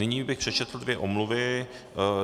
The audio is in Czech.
Nyní bych přečetl dvě omluvy.